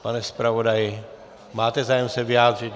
Pane zpravodaji, máte zájem se vyjádřit?